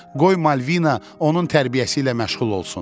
Qoy Malvina onun tərbiyəsi ilə məşğul olsun.